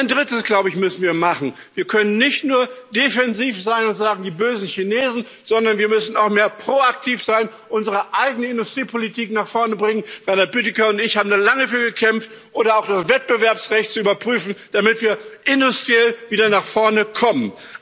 Und ein Drittes müssen wir machen Wir können nicht nur defensiv sein und sagen die bösen Chinesen, sondern wir müssen auch mehr proaktiv sein, unsere eigene Industriepolitik nach vorne bringen Reinhard Bütikofer und ich haben lange dafür gekämpft oder auch das Wettbewerbsrecht überprüfen, damit wir industriell wieder nach vorne kommen.